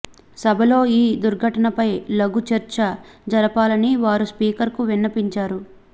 సభలో ఈ దుర్ఘటనపై లఘు చర్చ జరపాలని వారు స్పీకర్ కు విన్నవించారు